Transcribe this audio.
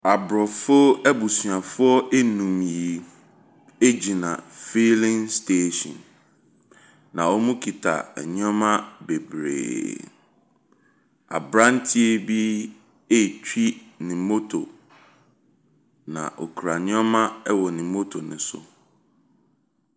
Aborɔfo abusuafoɔ nnum yi gyina filling station, na ɔkita nneɛma bebree. Aberanteɛ be retwi ne moto, na ɔkura nneɛma wɔ ne moto no so,.